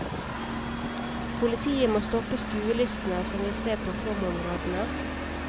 Politiet må stoppe skuelystne som vil se på flomområdene.